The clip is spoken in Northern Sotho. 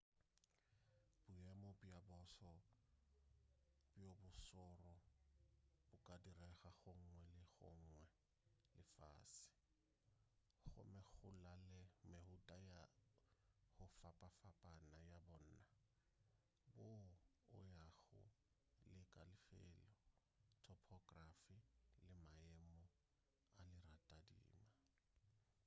boemo bja boso bjo bo šoro bo ka direga gongwe le go gongwe lefase gomme go la le mehuta ya go fapafapana ya bona boo o yago le ka lefelo topography le maemo a leratadima